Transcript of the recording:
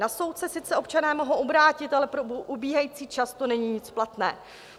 Na soud se sice občané mohou obrátit, ale pro ubíhající čas to není nic platné.